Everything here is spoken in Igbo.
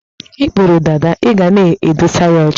I buru dada, i ga na-adụsa ya ọcha